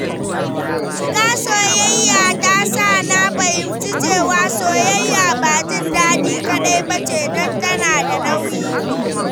Shiga soyayya yasa na fahimci cewa soyayya ba jin daɗi kaɗai ba ce, don tana da nauyi.